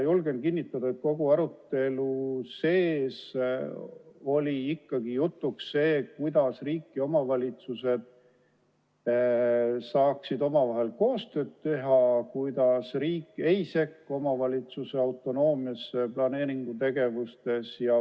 Julgen kinnitada, et kogu sellel arutelul oli ikkagi jutuks see, kuidas riik ja omavalitsused saaksid omavahel koostööd teha ja et riik ei sekku omavalitsuse autonoomiasse planeeringutegevuses.